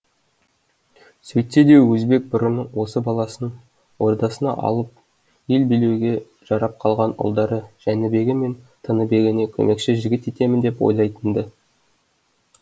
сөйтсе де өзбек бұрын осы баласын ордасына алып ел билеуге жарап қалған ұлдары жәнібегі мен тыныбегіне көмекші жігіт етемін деп ойлайтын ды